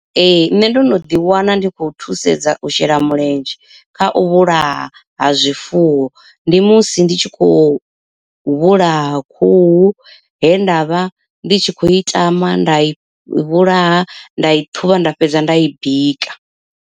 Ee nṋe ndo no ḓi wana ndi khou thusedza u shela mulenzhe kha u vhulaha ha zwifuwo. Ndi musi ndi tshi khou vhulaha khuhu he nda vha ndi tshi khou i tama nda i vhulaha nda i ṱhuvha nda fhedza nda i bika.